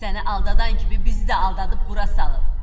Səni aldatan kimi bizi də aldadıb bura salıb.